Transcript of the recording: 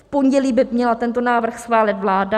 V pondělí by měla tento návrh schválit vláda.